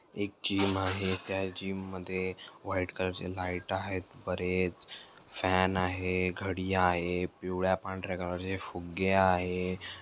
एक जीम आहे त्या जीम मध्ये व्हाइट कलर चे लाइट आहेत बरेच फॅन आहे घडि आहे पिवळ्या पांढर्‍या कलर चे फुगे आहे.